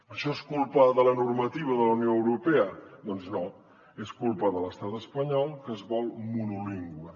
això és culpa de la normativa de la unió europea doncs no és culpa de l’estat espanyol que es vol monolingüe